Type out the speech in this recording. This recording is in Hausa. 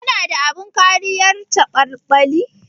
Kana da abin kariyar caɓalɓali?